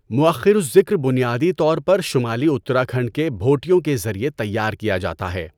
مؤخر الذکر بنیادی طور پر شمالی اتراکھنڈ کے بھوٹیوں کے ذریعے تیار کیا جاتا ہے۔